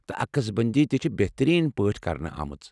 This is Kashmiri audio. تہٕ عکس بندی تہِ چھِ بہترین پٲٹھۍ کرنہٕ آمٕژ ۔